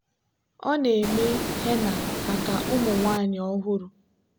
ọ na-eme henna maka ụmụ nwanyị ọhụrụ.